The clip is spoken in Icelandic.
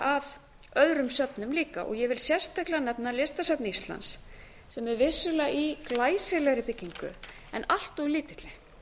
að örum söfnum líka ég vil sérstaklega nefna listasafn íslands sem er vissulega í glæsilegri byggingu en allt lítilli